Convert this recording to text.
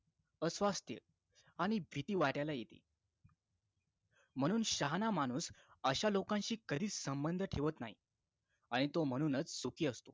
अस्वास्थ्य आणि भीती वाट्याला येते म्हणून शहाणा माणूस अशा लोकांशी कधीच संबंध ठेवत नाही आणि तो म्हणूनच सुखी असतो